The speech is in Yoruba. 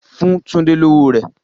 Fun Tunde lowo rẹ!